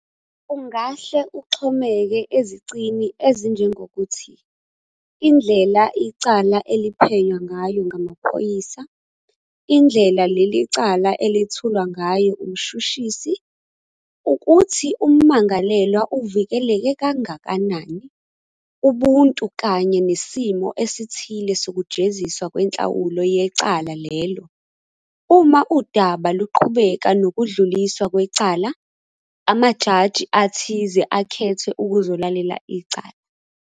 ungahle uxhomeke ezicini ezinjengokuthi indlela icala eliphenywa ngayo ngamaphoyisa, indlela leli cala elethulwa ngayo umshushisi, ukuthi ummangalelwa uvikeleke kangakanani, ubuntu kanye nesimo esithile sokujeziswa kwenhlawulo yecala lelo, uma udaba luqhubeka nokudluliswa kwecala, amajaji athize akhethwe ukuzolalela icala.